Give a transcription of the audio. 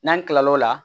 N'an tilal'o la